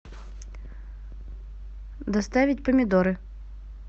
доставить помидоры